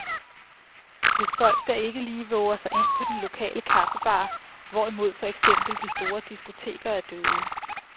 Hvis folk da ikke lige vover sig ind på den lokale kaffebar, hvorimod for eksempel de store diskoteker er døde.